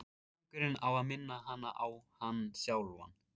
Hringurinn á að minna hana á hann sjálfan.